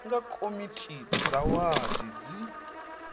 nga komiti dza wadi dzi